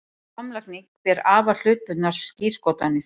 Samlagning ber afar hlutbundnar skírskotanir.